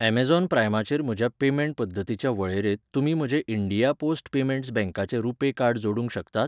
Amazon प्राइमाचेर म्हज्या payment पद्दतींच्या वळेरेंत तुमी म्हजें इंडिया पोस्ट पेमेंट्स बँकाचें रुपै कार्ड जोडूंक शकतात?